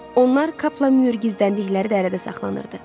Onlar Kapla Myur gizləndikləri dərədə saxlanılırdı.